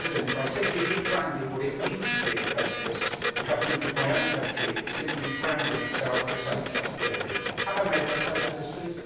By simply rebranding what it means to be an apprentice, the government of my own country is simply branding itself as untrustworthy. Have I made myself understood?